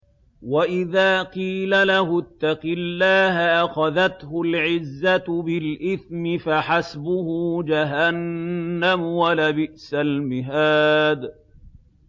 وَإِذَا قِيلَ لَهُ اتَّقِ اللَّهَ أَخَذَتْهُ الْعِزَّةُ بِالْإِثْمِ ۚ فَحَسْبُهُ جَهَنَّمُ ۚ وَلَبِئْسَ الْمِهَادُ